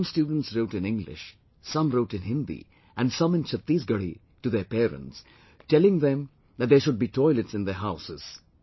Some students wrote in English, some wrote in Hindi and some in Chhatisgarhi to their parents telling them that there should be toilets in their houses